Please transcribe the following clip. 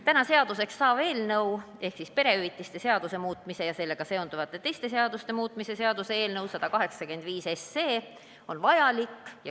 Täna seaduseks saav eelnõu ehk siis perehüvitiste seaduse muutmise ja sellega seonduvalt teiste seaduste muutmise seaduse eelnõu 185 on vajalik.